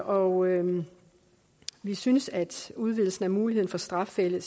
og vi synes at udvidelsen af muligheden for strafcelle